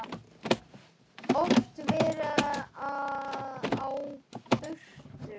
Oft verið á burtu.